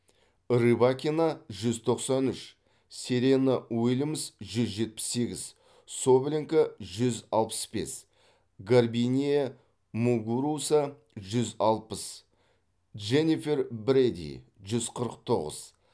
рыбакина жүз тоқсан үш серена уильямс жүз жетпіс сегіз соболенко жүз алпыс бес гарбинье мугуруса жүз алпыс дженнифер брэди жүз қырық тоғыз